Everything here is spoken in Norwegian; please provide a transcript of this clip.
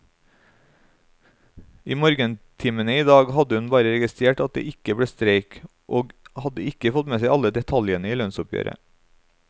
I morgentimene i dag hadde hun bare registrert at det ikke ble streik, og hadde ikke fått med seg alle detaljer i lønnsoppgjøret.